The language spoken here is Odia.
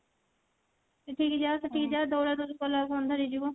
ଏଠିକି ଯାଅ ସେଠିକି ଯାଅ ଦୌଡା ଦଉଡି କଲା ବେଳକୁ ଅନ୍ଧାର ହେଇଯିବ